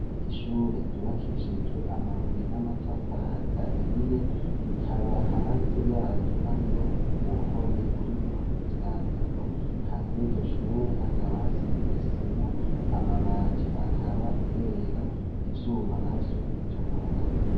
Ishure ryubakishijwe amabuye n'amatafari ahiye rikaba hanze raryo hariho uruhome ruriko ivyandiko, hanze yiryo shure hakaba hazize isima, amabati akaba yera ivyuma navyo bitukura.